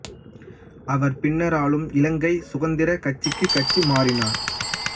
அவர் பின்னர் ஆளும் இலங்கை சுதந்திரக் கட்சிக்கு கட்சி மாறினார்